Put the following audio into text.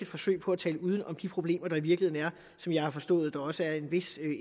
forsøg på at tale uden om de problemer der i virkeligheden er og som jeg har forstået der også er en vis